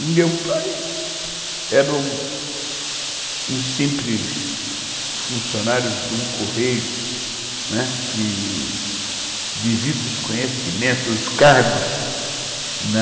E meu pai (voz falhando) era um simples funcionário de um correio, que, devido aos conhecimentos, aos cargos na